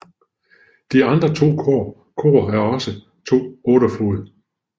De andre to kor er også to 8 fod